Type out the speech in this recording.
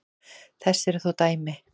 Þess eru þó dæmi.